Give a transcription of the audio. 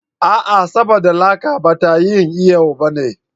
A'a! saboda laka ba ta yin iyo ba ne.